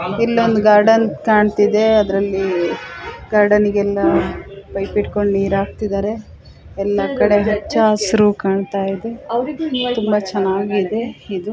ಇಲ್ಲೊಂದು ಗಾರ್ಡನ್ ಕಾಣ್ತಿದೆ ಅದ್ರಲ್ಲಿ ಗಾರ್ಡನ್ಗೆ ಎಲ್ಲಾ ಪೈಪ್ ಹಿಡ್ಕೊಂಡು ನೀರ್ ಹಾಕ್ತಿದ್ದಾರೆ ಎಲ್ಲಾ ಕಡೆ ಹಚ್ಚ ಹಸಿರು ಕಾಣತ್ತಿದೆ ತುಂಬಾ ಚನ್ನಾಗಿದೆ ಇದು.